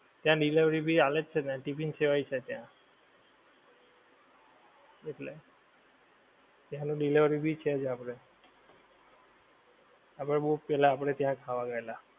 ત્યાં delivery ભી ચાલે જ છે ને ત્યાં ટિફિન સેવા પણ છે ત્યાં એટલે ત્યાંનું delivery ભી છે ત્યાં આપણે આપણે બોવ પેહલા ત્યાં જ ખાવા ગયેલા